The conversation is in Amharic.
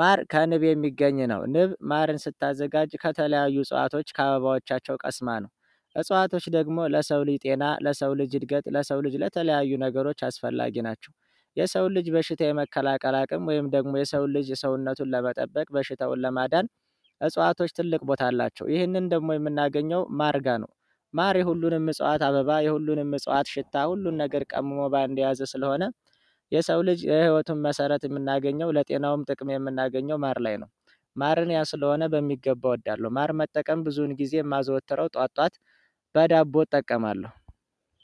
ማር ከንብ የሚገኝ ነው ንብ ማርን ስታዘጋጅ ከተለያዩ ጸዋቶች ከአበባዎቻቸው ቀስማ ነው እጽዋቶች ደግሞ ለሰው ልጅ ጤና ለሰው ልጅ እድገት ለሰው ልጅ ለተለያዩ ነገሮች አስፈላጊ ናቸው። የሰውን ልጅ በሽታ የመከላከል አቅም ወይም ደግሞ የሰውን ልጅ ሰውነቱን ለመጠበቅ በሽታውን ለማዳን። እጽዋቶች ትልቅ ቦታ አላቸው ይህንን ደግሞ የምናገኘው ማር ጋር ነው። ማር የሁሉንም እጽዋት አበባ የሁሉንም እጽዋት ሽታ ሁሉን ነገር ቀምሞ በአንድ የያዘ ስለሆነ። የሰው ልጅ የህይወቱን መሰረት የምናገኘው ለጤናውም ጥቅም የምናገኘው ማር ላይ ነው። ማርን ያ ስለሆነ በሚገባ እወዳለሁ ማር መጠቀም ብዙን ጊዜ የማዘወትረው ጠዋት ጠዋት። በዳቦ እጠቀማለሁ።